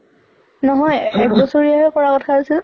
নহয় এক বছৰিয়া হে কৰা কথা আছিল।